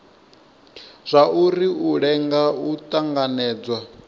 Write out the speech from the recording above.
zwauri u lenga u tanganedzwa